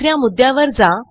दुस या मुद्यावर जा